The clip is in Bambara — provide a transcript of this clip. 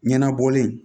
Ɲɛnabɔlen